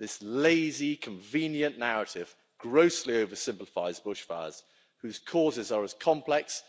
This lazy, convenient narrative grossly oversimplifies bushfires, whose causes are as complex